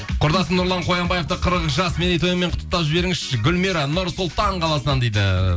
құрдасым нұрлан қоянбаевты қырық жас мерейтойымен құттықтап жіберіңізші гүлмира нұр сұлтан қаласынан дейді